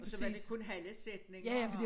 Og så var det kun halve sætninger og